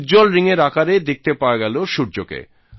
উজ্জ্বল রিংয়ের আকারে দেখতে পাওয়া গেল সূর্যকে